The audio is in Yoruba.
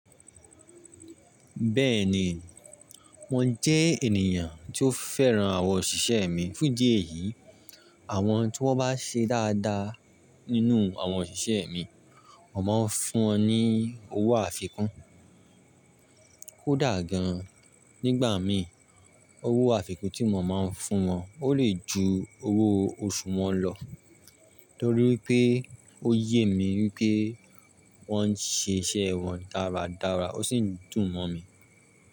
Bẹ́ẹ̀ni, mò jẹ́ ènìyàn tí ó féràn àwọn òṣìṣẹ́ mi. Fún díẹ̀ yìí, àwọn tí wọ́n bá ṣe dáadáa nínú àwọn òṣìṣẹ́ mi, mò máa ń fún wọn ní owó àfikún. Kódà gan an, nígbà mìí owó àfikún tí mò máa ń fún wọn ó lè ju owó oṣù wọn lọ torí pé ó yé mi wípé wọ́n ń ṣe iṣẹ́ wọn dáradára ó sì ń dùn mọ̀ mí.